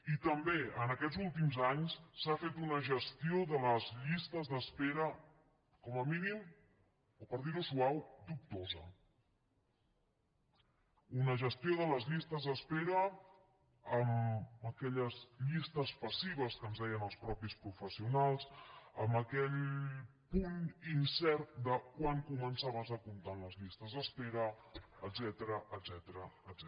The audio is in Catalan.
i també en aquests últims anys s’ha fet una gestió de les llistes d’espera com a mínim per dir ho suau dubtosa una gestió de les llistes d’espera amb aquelles llistes passives que ens deien els mateixos professionals amb aquell punt incert de quan començaves a comptar en les llistes d’espera etcètera etcètera